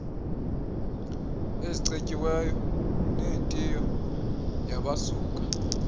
ezicetyiweyo nentiyo yabasuka